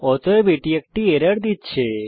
অতএব এটি একটি এরর দিচ্ছে